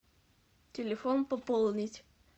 телефон пополнить